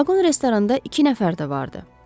Vaqon restoranda iki nəfər də vardı.